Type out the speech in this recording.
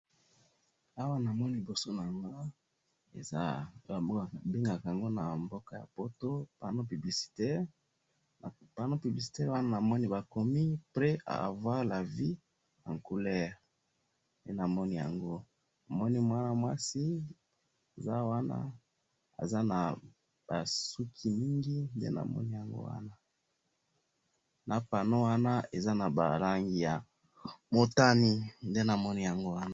Na moni ba buku ya kotanga